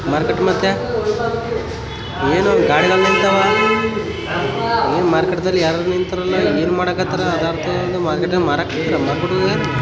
market ಮತ್ತೆ ಎನೊಂದ್ ಗಾಡಿಗಳು ನಿಂತಾವ ಮಾರ್ಕೆಟ್ನಲ್ಲಿ ಯಾರ್ಯಾರೋ ನಿಂತೋರಲ್ಲ ಇನ್ನೇನ್ ಮಾಡಕ್ ಹತ್ತರ ಅರ್ಥವಾಗೋವಲ್ದು ಮಾರ್ಕೆಟ್ --